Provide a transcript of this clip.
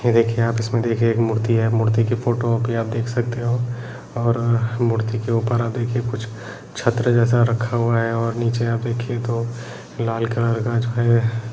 ये देखिये आप इसमें देखिये एक मूर्ति है मूर्ति के फोटो पे आप देख सकते हो और मूर्ति के उपर आप देखिये कुछ छत्र जैसा रखा हुआ है और नीचे आप देखिये तो लाल कलर का जो है --